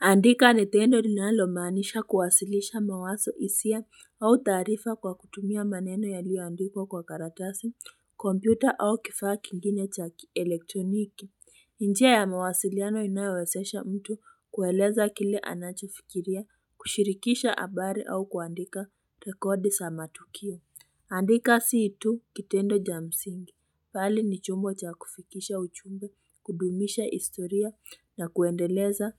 Andika ni tendo linalomaanisha kuwasilisha mawazo hisia au taarifa kwa kutumia maneno yaliyoandikwa kwa karatasi, kompyuta au kifaa kingine cha kielektroniki. Njia ya mawasiliano inayowezesha mtu kueleza kile anachofikiria, kushirikisha habari au kuandika rekodi za matukio. Andika si tu kitendo cha msingi, bali ni chombo cha kufikisha ujumbe, kudumisha historia na kuendeleza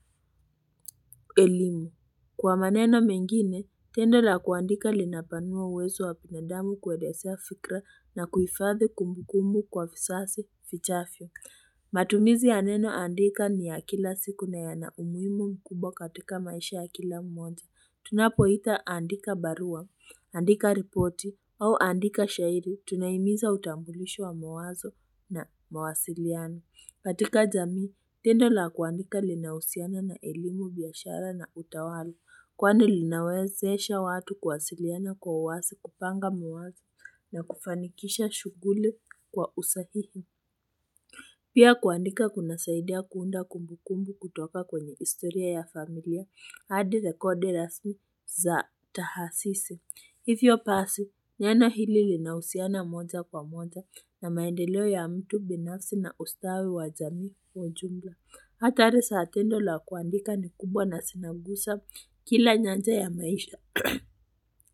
elimu. Kwa maneno mengine, tendo la kuandika linapanua uwezo wa binadamu kuelezea fikra na kuhifadhi kumbukumbu kwa vizazi vijavyo. Matumizi ya neno andika ni ya kila siku na yana umuhimu mkubwa katika maisha ya kila mmoja. Tunapoita andika barua, andika ripoti, au andika shairi, tunahimiza utambulisho wa mawazo na mawasiliano. Katika jamii, tendo la kuandika linahusiana na elimu biashara na utawala, kwani linawezesha watu kuwasiliana kwa uwazi kupanga mawazo na kufanikisha shughuli kwa usahihi. Pia kuandika kunasaidia kuunda kumbukumbu kutoka kwenye historia ya familia, hadi rekodi rasmi za taasisi. Hivyo basi, neno hili linahusiana moja kwa moja na maendeleo ya mtu binafsi na ustawi wa jamii kwa ujumla. Athari za tendo la kuandika ni kubwa na zinagusa kila nyanja ya maisha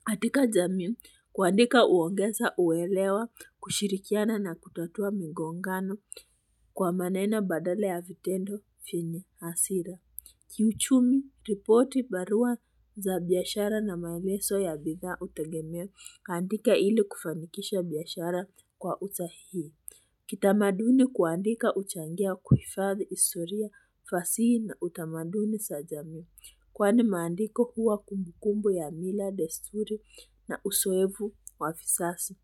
katika jamii kuandika huongeza uelewa kushirikiana na kutatua migongano kwa maneno badala ya vitendo vyenye hasira Kiuchumi, ripoti barua za biashara na maelezo ya bidhaa hutegemea kuandika ili kufanikisha biashara kwa usahihi. Kitamaduni kuandika huchangia kuhifadhi historia fasihi na utamaduni za jamii. Kwani maandiko huwa kumbukumbu ya mila, desturi na uzoevu wa vizazi.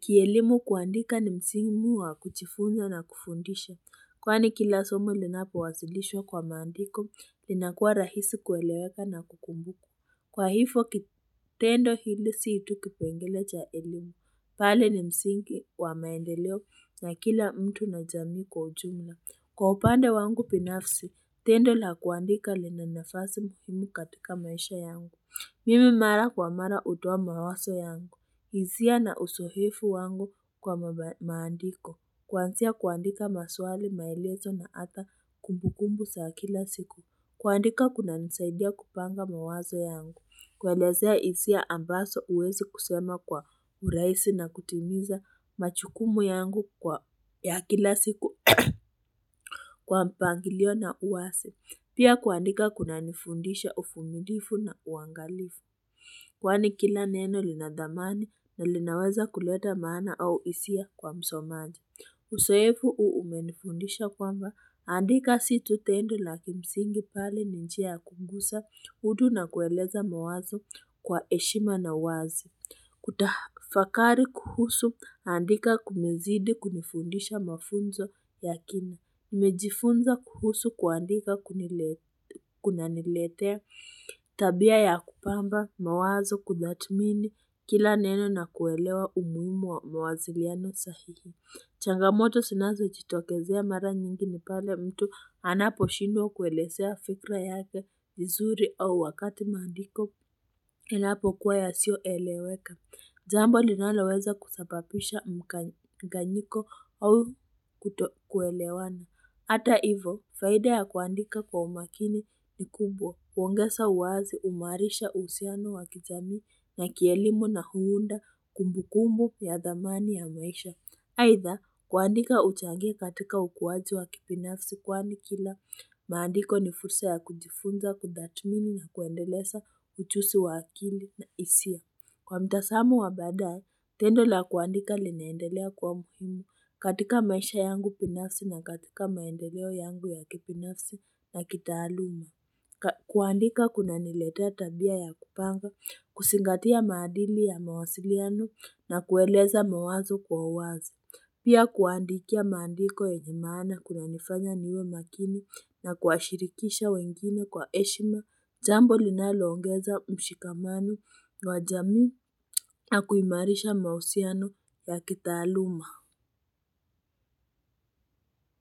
Kielimu kuandika ni msimu wa kujifunza na kufundisha. Kwani kila somo linapowasilishwa kwa maandiko, linakuwa rahisi kueleweka na kukumbukwa. Kwa hivyo, kitendo hili si tu kipengele cha elimu. Bali ni msingi wa maendeleo ya kila mtu na jamii kwa ujumla. Kwa upande wangu binafsi, tendo la kuandika lina nafasi muhimu katika maisha yangu. Mimi mara kwa mara hutoa mawazo yangu. Hisia na uzoefu wangu kwa maandiko. Kuanzia kuandika maswali maelezo na hata kumbukumbu za kila siku. Kuandika kunanisaidia kupanga mawazo yangu. Kuelezea hisia ambazo huwezi kusema kwa urahisi na kutimiza majukumu yangu kwa ya kila siku kwa mpangilio na uwazi. Pia kuandika kunanifundisha uvumilivu na uangalifu. Kwani kila neno lina thamani na linaweza kuleta maana au hisia kwa msomaji. Uzoevu huu umenifundisha kwamba andika si tu tendo na kimsingi bali ni njia ya kugusa utu na kueleza mawazo kwa heshima na uwazi. Kutafakari kuhusu andika kumezidi kunifundisha mafunzo ya kina. Nimejifunza kuhusu kuandika kunaniletea tabia ya kupamba mawazo kuthamini kila neno na kuelewa umuhimu wa mawasiliano sahihi. Changamoto zinazojitokezea mara nyingi ni pale mtu anaposhindwa kuelezea fikra yake vizuri au wakati maandiko yanapokuwa yasiyoeleweka. Jambo linaloweza kusababisha mkanganyiko au kutokuelewana. Hata hivyo, faida ya kuandika kwa umakini ni kubwa. Huongeza uwazi, huimarisha uhusiano wa kijamii na kielimu na huunda kumbukumbu ya thamani ya maisha. Aitha, kuandika huchangia katika ukuaji wa kibinafsi kwani kila maandiko ni fursa ya kujifunza, kutathmini na kuendeleza ujuzi wa akili na hisia. Kwa mtazamo wa baadaye, tendo la kuandika linaendelea kwa muhimu katika maisha yangu binafsi na katika maendeleo yangu ya kibinafsi na kitaaluma. Kuandika kunaniletea tabia ya kupanga, kuzingatia maadili ya mawasiliano na kueleza mawazo kwa uwazi. Pia kuandikia maandiko yenye maana kunanifanya niwe makini na kuwashirikisha wengine kwa heshima jambo linaloongeza mshikamano wa jamii na kuimarisha mahusiano ya kitaaluma.